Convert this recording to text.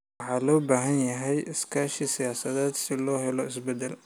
Waxaa loo baahan yahay iskaashi siyaasadeed si loo helo isbedel